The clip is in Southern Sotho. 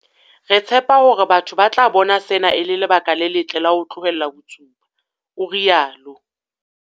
Re tshepa hore batho ba tla bona sena e le lebaka le letle la ho tlohela ho tsuba, o rialo.